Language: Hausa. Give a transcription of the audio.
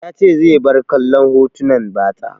Ya ce zai bar kallon hotunan batsa.